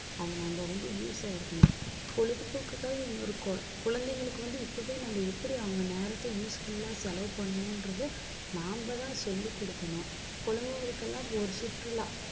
அதை நம்ம வந்து, use ஆ இருக்கணும். பொழுதுபோக்குக்காக இன்னொரு கு~ குழந்தைங்களுக்கு வந்து, இப்பவே நம்ம எப்படி அவங்க நேரத்தை useful ஆ செலவு பண்ணணும்ன்றது நாம தான் சொல்லிக் கொடுக்கணும். குழந்தைகளுக்கு எல்லாம் ஒரு சுற்றுலா